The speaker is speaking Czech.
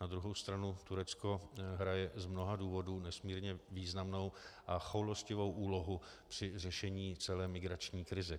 Na druhé straně Turecko hraje s mnoha důvodů nesmírně významnou a choulostivou úlohu při řešení celé migrační krize.